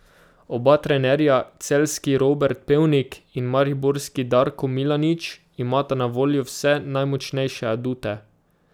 Oba trenerja, celjski Robert Pevnik in mariborski Darko Milanič, imata na voljo vse najmočnejše adute.